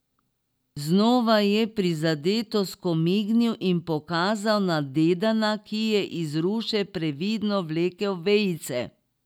Znova je neprizadeto skomignil in pokazal na Dedana, ki je iz ruše previdno vlekel vejice.